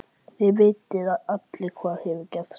Þið vitið allir hvað hefur gerst.